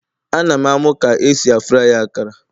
Ana m amu ka esi fry akara